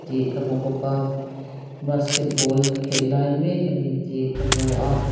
ih ka hmu bawk a basket ball an khelh lai mek ani tih ka hmu a.